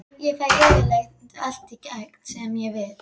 Ég fæ yfirleitt allt í gegn sem ég vil.